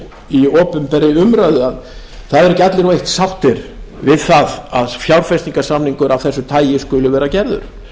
í opinberri umræðu það eru ekki allir eru allir sáttir við það að fjárfestingarsamningur af þessu tagi skuli vera gerður